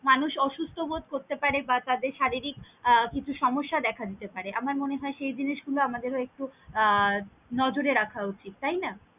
মানুষ অসুস্ত বোধ করতে পারে বা তাদের শারীরিক আহ কিছু সমস্যা দেখাদিতে পারে আমার মনে হয় সেই জিনিস গুলো আমাদের ও আহ একটু নজরে রাখা উচিত তাই না? দেখো।